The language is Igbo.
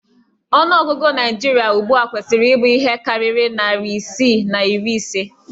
Ọnụ ọgụgụ Naijiria ugbua kwesiri ibụ ihe karịrị narị isii na iri ise